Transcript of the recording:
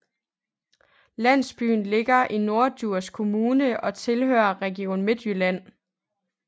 Landsbyen ligger i Norddjurs Kommune og tilhører Region Midtjylland